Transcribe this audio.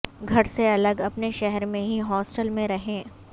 گھر سے الگ اپنے شہر میں ہی ہاسٹل میں رہیں